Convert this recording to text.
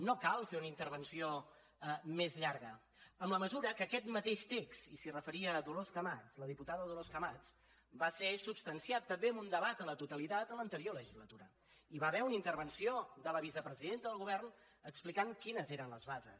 no cal fer una intervenció més llarga en la mesura que aquest mateix text i s’hi referia la diputada dolors camats va ser substan ciat també en un debat a la totalitat a l’anterior legislatura hi va haver una intervenció de la vicepresidenta del govern explicant quines eren les bases